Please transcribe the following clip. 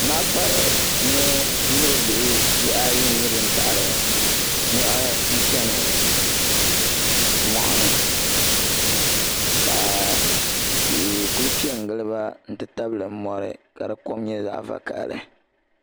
Naɣakpara mini o bihi ayi n nyɛ ban taɣari niɣi n cheni moɣuni ka tihi kuli piɛ n gili ba n ti tabili mori ka di kom nyɛ vakahali.